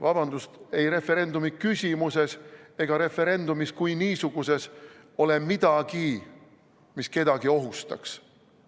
Vabandust, ei referendumi küsimuses ega referendumis kui niisuguses ole midagi, mis kedagi ohustaks.